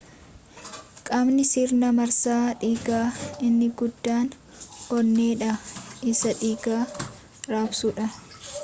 qaamni sirna marsaa dhiigaa inni guddaan onneedha isa dhiiga raabsuudha